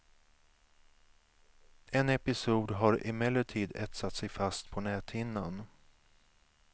En episod har emellertid etsat sig fast på näthinnan.